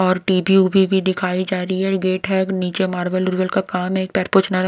और टीवी उभी भी दिखाई जा रही है गेट है नीचे मार्बल का काम है एक पैर पछना.--